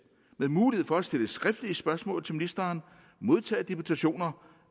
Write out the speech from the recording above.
med mulighed for at stille skriftlige spørgsmål til ministeren modtage deputationer